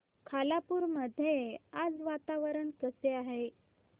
खालापूर मध्ये आज वातावरण कसे आहे